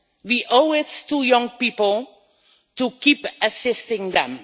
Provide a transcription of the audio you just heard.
We owe it to young people to keep assisting them.